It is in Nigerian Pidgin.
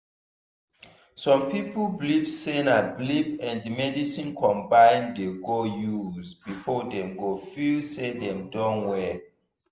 some people believe sey na belief and medicine combine dey go use before dem go feel sey dem don well